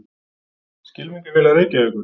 Skylmingafélag Reykjavíkur.